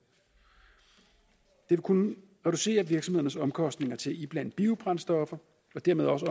vil kunne reducere virksomhedernes omkostninger til at iblande biobrændstoffer og dermed også